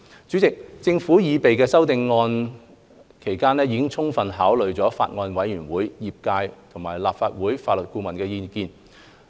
主席，政府擬備修正案期間，已充分考慮法案委員會、業界和立法會法律顧問的意見。